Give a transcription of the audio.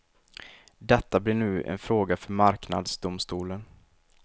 Detta blir nu en fråga för marknadsdomstolen.